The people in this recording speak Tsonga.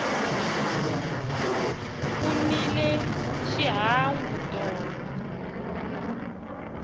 ku nile xihangu tolo